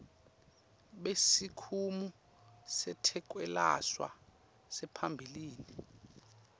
besikimu setekwelashwa saphambilini